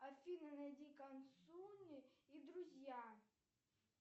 афина найди консуни и друзья